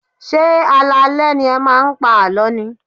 Ṣé alaalẹ́ ni ẹ máa ń pa àlọ́ ni?